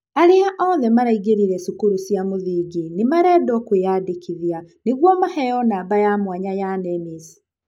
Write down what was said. aria othe maraingĩrire cukuru cia mũthingi nĩmarendwo kwĩyandĩkithia niguo maheyo namba ya mwanya ya Nemis.